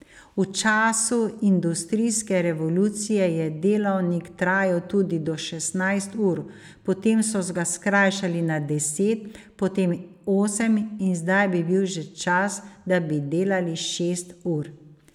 V času industrijske revolucije je delavnik trajal tudi do šestnajst ur, potem so ga skrajšali na deset, potem osem in zdaj bi bil že čas, da bi delali šest ur.